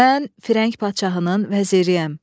Mən Firəng padşahının vəziriyəm.